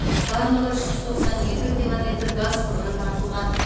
барлығы үш жүз тоөсае екі километр газ құбыры тартылған